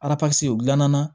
u dilanna